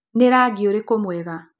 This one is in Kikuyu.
Nĩ rangi ũrikũ mwega?